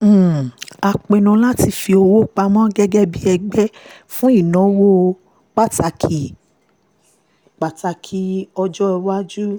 um a pinnu láti fi owó pamọ́ gẹ́gẹ́ bí ẹgbẹ́ fún ìnáwó pàtàkì ìnáwó pàtàkì àkọ́kọ́ tó ń bọ̀